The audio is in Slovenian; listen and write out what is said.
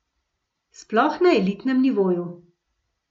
Sploh na elitnem nivoju.